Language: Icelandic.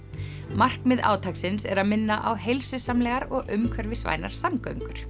markmið átaksins er að minna á heilsusamlegar og umhverfisvænar samgöngur